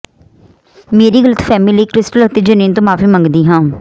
ਮੇਰੀ ਗ਼ਲਤਫ਼ਹਿਮੀ ਲਈ ਕ੍ਰਿਸਟਲ ਅਤੇ ਜਨਿਨ ਤੋਂ ਮਾਫੀ ਮੰਗਦੀ ਹਾਂ